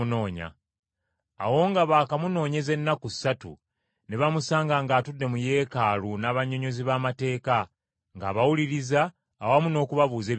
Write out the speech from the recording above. Awo nga baakamunoonyeza ennaku ssatu, ne bamusanga ng’atudde mu Yeekaalu n’abannyonnyozi b’amateeka ng’abawuliriza awamu n’okubabuuza ebibuuzo.